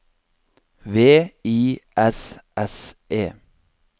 V I S S E